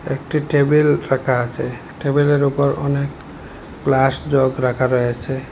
একটি টেবিল রাখা আছে টেবিলের উপরে অনেক গ্লাস জগ রাখা রয়েছে।